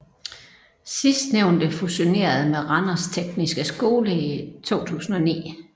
Sidstnævnte fusionerede med Randers Tekniske Skole i 2009